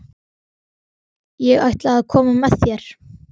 Ég ætla að koma með þér!